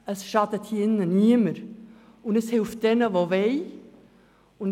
Es schadet hier im Saal niemandem, aber es hilft denen, die dies wollen.